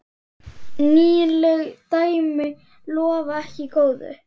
Nýleg dæmi lofa ekki góðu.